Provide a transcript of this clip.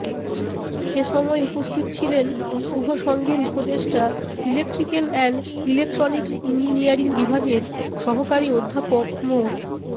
এ সময় উপস্থিত ছিলেন শুভসংঘের উপদেষ্টা ইলেকট্রিক্যাল অ্যান্ড ইলেকট্রনিক্স ইঞ্জিনিয়ারিং বিভাগের সহকারী অধ্যাপক মো